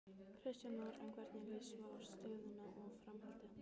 Kristján Már: En hvernig líst svo á stöðuna og framhaldið?